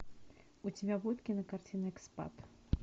у тебя будет кинокартина экспад